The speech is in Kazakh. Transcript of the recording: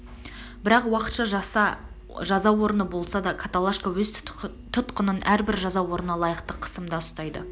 бірақ уақытша жаза орны болса да каталашка өз тұтқынын әрбір жаза орнына лайықты қысымда ұстайды